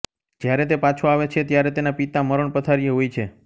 જ્યારે તે પાછો આવે છે ત્યારે તેના પિતા મરણપથારીએ હોય છે